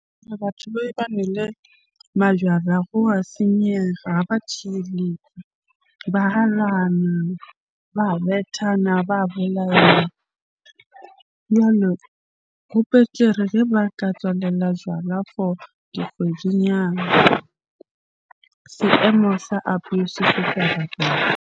Batho majwala go wa senyega, ha ba . Ba , ba bethana, ba bolayana. Jwalo, ho betere ge ba ka tswalela jwala for dikgwedinyana. Seemo sa abuse se .